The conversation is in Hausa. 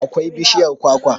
akwai bishiyar kwakwa